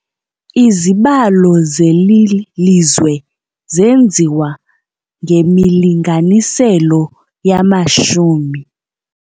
Izibalo zeli lizwe zenziwa ngemilinganiselo yamashumi.